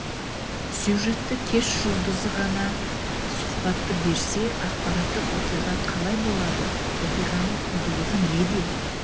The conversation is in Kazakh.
сюжетті кеш жұлдызы ғана сұхбатты берсе ақпараттық оқиға қалай болады оқиғаның құндылығы неде